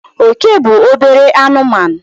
Oke bụ obere anụmanụ.